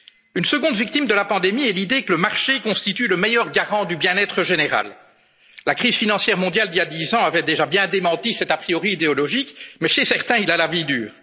nos horizons. Une seconde victime de la pandémie est l'idée que le marché constitue le meilleur garant du bien être général. La crise financière mondiale, il y a dix ans, avait déjà bien démenti cet a priori idéologique mais, chez certains, il